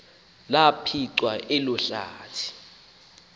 laphicwa elo hlathi